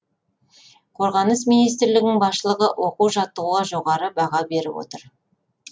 қорғаныс министрлігінің басшылығы оқу жаттығуға жоғары бағаларын беріп отыр